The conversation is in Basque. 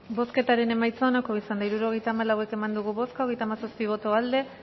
bozketaren emaitza onako izan da hirurogeita hamalau eman dugu bozka hogeita hamazazpi boto aldekoa